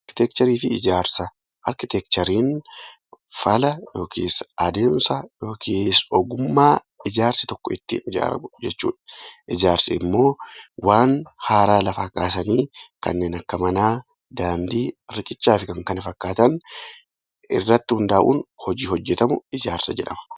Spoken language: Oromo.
Arkiteekchariin fala yookiin adeemsa yookaan ogummaa ijaarsi tokko ittiin ijaaramu jechuudha. Ijaarsi immoo waan haaraa lafaa kaasanii kanneen akka manaa, daandii, riqichaa fi kan kana fakkaatan irratti hundaa'uun hojii hojjatamu ijaarsa jedhama.